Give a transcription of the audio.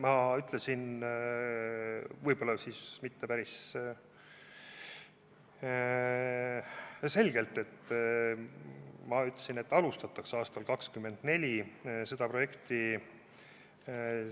Ma ütlesin – võib-olla siis mitte päris selgelt –, et seda projekti alustatakse aastal 2024.